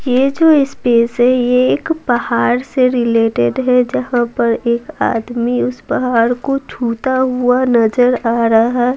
ये जो स्पेस है ये एक पहाड़ से रिलेटेड है जहां पर एक आदमी उस पहाड़ को छूता हुआ नजर आ रहा--